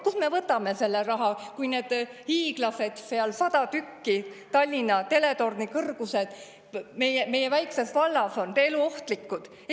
Kust me võtame selle raha, kui need hiiglased seal – 100 tükki, Tallinna teletorni kõrgused – meie väikeses vallas on eluohtlikud?